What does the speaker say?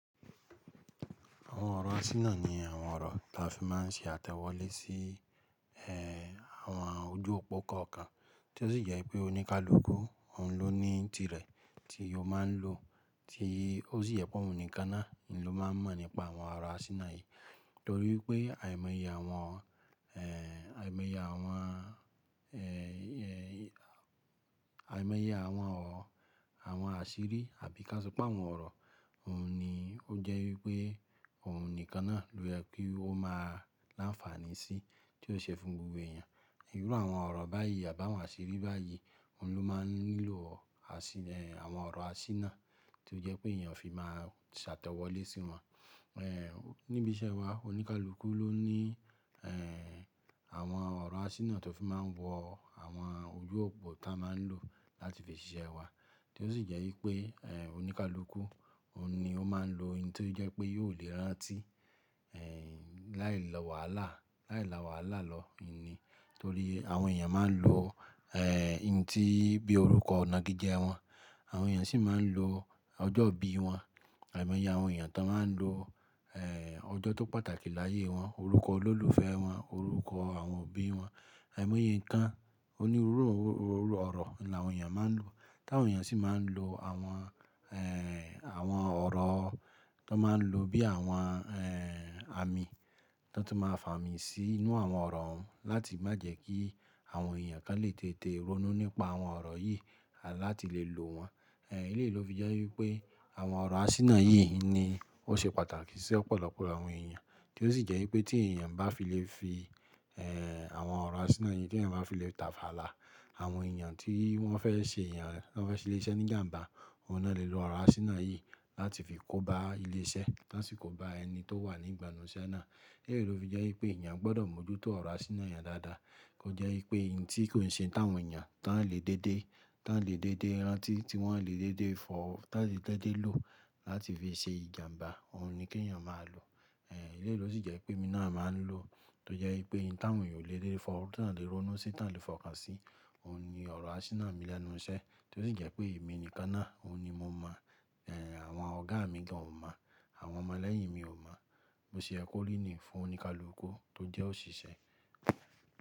Àwọn ọ̀rọ̀ asínà ni àwọn ọ̀rọ̀ tí a fi máa ń ṣe àtẹ̀wọ́lé sí, ẹ́, àwọn ojú òpó kọ̀ọ̀kan tí ó sì jẹ́ pé oníkálukú, òun ló ní tirẹ̀ tí ó máa ń lò tí ó sì jẹ́ pé òun nìkan náà ni ló máa ń mọ̀ nípa àwọn ọ̀rọ̀ asínà yìí. Torí pé àìmọye àwọn, ẹ́, àìmọye àwọn, ẹ́, àìmọye àwọn ọ̀rọ̀, àwọn àṣírí àbí ká sọ pé àwọn ọ̀rọ̀, òun ni ó jẹ́ wípé òun nìkan náà ló yen kí ó máa láǹfààní sí tí ó ṣe fún gbogbo èèyàn. Ìrú àwọn ọ̀rọ̀ báyìí àbá àwọn àṣírí báyìí, òun ló máa ń nílò ẹ́, àwọn ọ̀rọ̀ asínà tí ó jẹ́ pé èèyàn fi máa ń ṣàtẹ̀wọ́lé sí wọn. Ẹ̀, níbi iṣẹ́ wa, oníkálukú ló ní, ẹ́, àwọn ọ̀rọ̀ asínà tó fi máa ń wọ àwọn ojú òpó tí a máa ń lò láti fi ṣiṣẹ́ wa tí ó sì jẹ́ wípé, ẹ́, oníkálukú, òun ni ó máa ń lò ohun tí ó jẹ́ pé yóò lè rántí, ẹ́, láì lò wàhálà, láì la wàhálà lọ ni. Nítorí àwọn èèyàn máa ń lò, ẹ́, ohun tí bí orúkọ ọ̀nà gíjẹ́ wọn. Àwọn èèyàn sì máa ń lò ọjọ́ bí wọn. Àìmọye àwọn èèyàn tó máa ń lò, ẹ́, ọjọ́ tó pàtàkì láyé wọn, orúkọ olólùfẹ́ wọn, orúkọ àwọn òbí wọn, àìmọye nǹkan onírúurú ọ̀rọ̀ ni àwọn èèyàn máa ń lò. Táwọn èèyàn sì máa ń lò àwọn, ẹ́, àwọn ọ̀rọ̀ tó máa ń lò bí àwọn, ẹ́, àmì tán tún máa fà mí sí inú àwọn ọ̀rọ̀ ohun láti má jẹ́ kí àwọn èèyàn kan lè tètè ronú nípa àwọn ọ̀rọ̀ yìí láti lè lò wọ́n. Ẹ̀, léèló fi jẹ́ wípé àwọn ọ̀rọ̀ asínà yìí ni ó ṣe pàtàkì sí ọ̀pọ̀lọpọ̀ àwọn èèyàn tí ó sì jẹ́ wípé tí èèyàn bá fi lè fi, ẹ́, àwọn ọ̀rọ̀ asínà yìí tí ẹ bá fi lè tafàlà àwọn èèyàn tí wọ́n fẹ́ ṣe èèyàn, wọ́n fẹ́ ṣe ilé iṣẹ́ ní ìjàǹbá, òun náà lè lò ọ̀rọ̀ asínà yìí láti fi kóba ilé iṣẹ́, tán sì kóba ẹni tó wà ní ìgbànú iṣẹ́ náà. Ileyi ló fi jẹ́ wípé èèyàn gbọ́dọ̀ mójútó ọ̀rọ̀ asínà èèyàn dáadáa kó jẹ́ wípé n tí kò ṣe ẹ́ táwọn èèyàn tá ń lè dédé, tá ń lè dédé rántí, tí wọ́n lè dédé fọ́, tá lè dédé lò láti fi ṣe ìjàǹbá, òun ni kí èèyàn máa lò. Eléyìí ló sì jẹ́ pé èmi náà máa ń lò ó tó jẹ́ wípé ohun tí àwọn èèyàn ò lè dédé fọ́, tí wọ́n lè ronú sí, tí wọ́n lè fọkàn sí, òun ni ọ̀rọ̀ asínà mi lẹ́nu iṣẹ́ tí ó sì jẹ́ pé èmi nìkan náà, òun ni mo mọ̀, ẹ́, àwọn ọ̀gá mi gan o mọ̀, àwọn ọmọ lẹ́yìn mi ò mọ̀. Bó ṣe yẹ kó rí nìí fún oníkálukú tó jẹ́ òṣìṣẹ́.